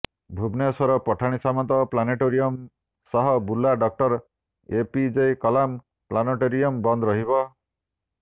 Bhubaneswar Pathani Samanta planetarium ସହ Burla doctor APJ Kalam planetarium ବନ୍ଦ ରହିବ